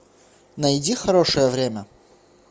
найди хорошее время